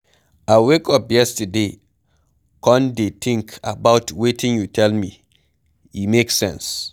I wake up yesterday come dey think about wetin you tell me, e make sense.